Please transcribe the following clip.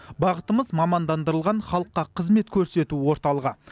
бағытымыз мамандандырылған халыққа қызмет көрсету орталығы